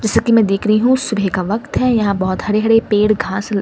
जैसे कि मैं देख रही हूं सुबह का वक्त है यहां बहुत हरे-हरे पेड़ घास।